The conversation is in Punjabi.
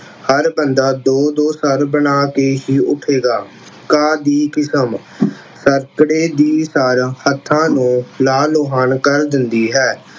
ਹਰ ਬੰਦਾ ਦੋ-ਦੋ ਸਰ ਬਣਾ ਕਿ ਹੀ ਉੱਠੇਗਾ, ਘਾਹ ਦੀ ਕਿਸਮ, ਸਰਕੜੇ ਦੀ ਸਰ ਹੱਥਾਂ ਨੂੰ ਲਾਲ-ਲੁਹਾਣ ਕਰ ਦਿੰਦੀ ਹੈ।